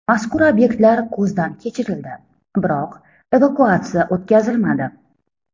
Mazkur obyektlar ko‘zdan kechirildi, biroq evakuatsiya o‘tkazilmadi.